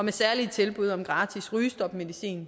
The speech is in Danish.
har særlige tilbud om gratis rygestopmedicin